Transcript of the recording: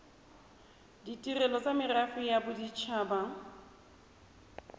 ditirelo tsa merafe ya bodit